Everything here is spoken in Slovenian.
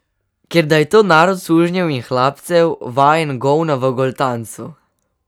Ker da je to narod sužnjev in hlapcev, vajen govna v goltancu.